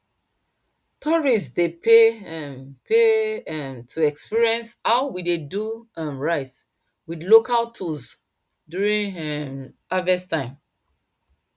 tourists dey pay um pay um to experience how we dey do um rice with local tools during um harvest time